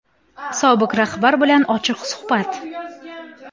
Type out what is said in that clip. Sobiq rahbar bilan ochiq suhbat.